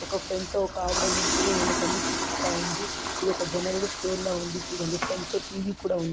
ఒక ఫ్రాంట్లో ఒక ఆవిడా నిల్చొని ఆయనకి అన్ని చూపిస్తా ఉంది ఇది ఒక జనరల్ స్టోర్ లా ఉంది చుడండి ఫ్రాంట్లో టీవీ కూడా ఉంది.